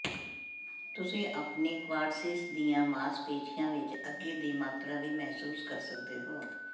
ਤੁਸੀਂ ਆਪਣੀ ਕਵਾਡ੍ਰਸੀਸ ਦੀਆਂ ਮਾਸਪੇਸ਼ੀਆਂ ਵਿਚ ਅੱਗੇ ਦੀ ਮਾਤਰਾ ਵੀ ਮਹਿਸੂਸ ਕਰ ਸਕਦੇ ਹੋ